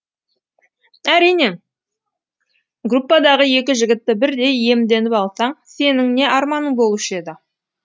әрине группадағы екі жігітті бірдей иемденіп алсаң сенің не арманың болушы еді